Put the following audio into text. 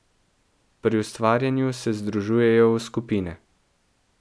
Pri ustvarjanju se združujejo v skupine.